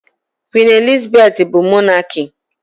Queen Elizabeth bu Mọnaki.